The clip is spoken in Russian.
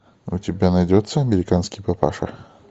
у тебя найдется американский папаша